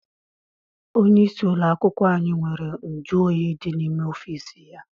Onye isi ụlọakwụkwọ anyị nwere nju oyi dị n'ime ọfịịsi ya.